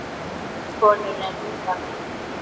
Kolur er líka vinur þeirra.